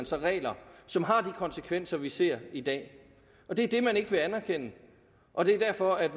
sig regler som har de konsekvenser vi ser i dag det er det man ikke vil anerkende og det er derfor at